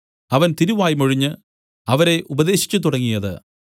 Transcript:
അവൻ തിരുവായ്മൊഴിഞ്ഞു അവരെ ഉപദേശിച്ചുതുടങ്ങിയത്